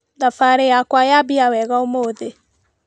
Thabarĩ yakwa yambia wega ũmũthĩ.